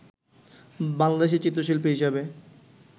বাংলাদেশে চিত্রশিল্পী হিসেবে